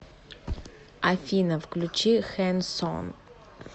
афина включи хэнсон